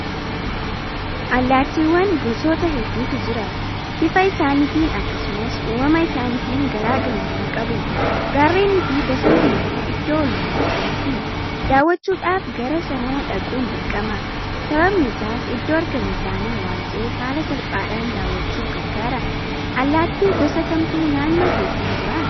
Allaattiiwwan gosoota hedduutu jira. Bifa isaaniitiin akkasumas uumama isaaniitiin garaa garummaa qabu. Gaarreniifi bosonni immoo iddoo oolmaa isaaniiti. Daawwachuudhaaf gara sana dhaquun dirqama. Sababni isaas iddoo argama isaanii waanta'eef haala salphaadhaan daawwachuuf gargaara. Allaattii gosa kamtu naannoo keessan jira?